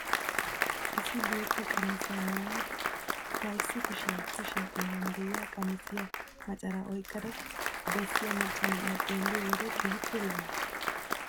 Issi bootta qamisiyaa maayada ba issi kushiyaa kushiyaa xeeran de'iyaa qamisiyaa macaraa oyqqada bessiyaa macca na'iyaa xelliyoo wode keehippe lo"awus.